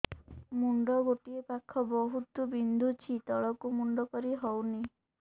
ମୁଣ୍ଡ ଗୋଟିଏ ପାଖ ବହୁତୁ ବିନ୍ଧୁଛି ତଳକୁ ମୁଣ୍ଡ କରି ହଉନି